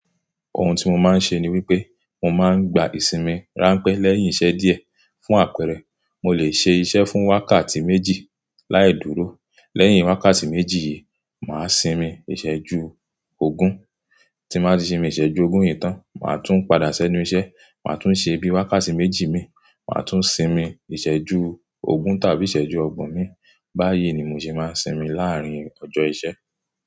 Òhun tí mo máa ń ṣe ni wípé mo máa ń gba ìsinmi ráńpẹ́ lẹ́yìn iṣẹ́ díẹ̀. Fún àpẹ̀rẹ̀, mo lè ṣe iṣẹ́ fún wákàtí méjì láì dúró. Lẹ́yìn wákàtí méjì yìí, màá sinmi ìsẹ̀jú ogún. Tí màá ti sinmi ìsẹ̀jú ogún yìí tán, màá tún padà sẹ́nu iṣẹ́, màá tún ṣe bí wákàtí méjì mi, màá tún sinmi ìsẹ̀jú ogún tàbí ìsẹ̀jú ọgbọ̀n mi. Bá yí ni mo ṣe máa sinmi láàárín ọjọ́ iṣẹ́